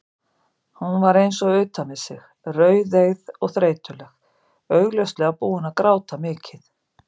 Hún var eins og utan við sig, rauðeygð og þreytuleg, augljóslega búin að gráta mikið.